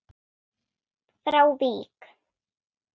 frá Vík.